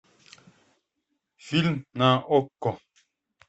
фильм на окко